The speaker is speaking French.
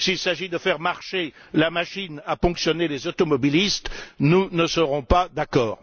S'il s'agit de faire marcher la machine à ponctionner les automobilistes, nous ne serons pas d'accord.